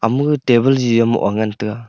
am table jije ma ga ngan taga.